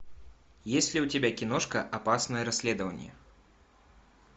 есть ли у тебя киношка опасное расследование